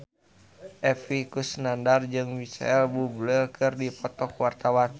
Epy Kusnandar jeung Micheal Bubble keur dipoto ku wartawan